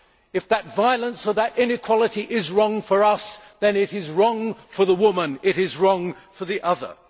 If that violence or that inequality is wrong for us, then it is wrong for the woman it is wrong for the other.